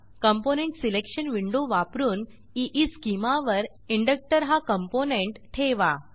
component selection window वापरुन eschema वर inductor हा कॉम्पोनेंट ठेवा